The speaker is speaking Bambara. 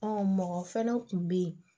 mɔgɔ fɛnɛ kun be yen